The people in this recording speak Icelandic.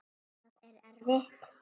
Það er erfitt.